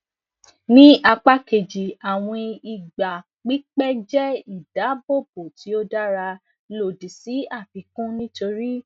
ni apa keji awin igba pipẹ jẹ idabobo ti o dara lodi si afikun nitori